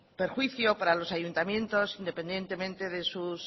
perjuicio para los ayuntamientos independientemente de sus